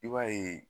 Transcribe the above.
I b'a ye